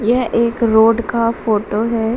यह एक रोड का फोटो है ।